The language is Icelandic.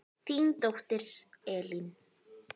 Þín dóttir, Elín.